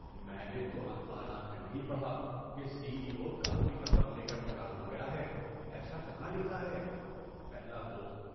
میں نے تو اخبارات میں نہیں پڑھا کہ سی ای او کافی رقم لے کر فرار ہو گیا ہے۔ ایسا کہاں لکھا ہے؟ (پہلا دوست)